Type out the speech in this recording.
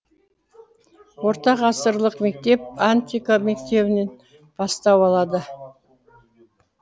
орта ғасырлық мектеп антика мектебінен бастау алады